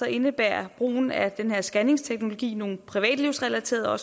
indebærer brugen af den scanningsteknologi nogle privatlivsrelaterede og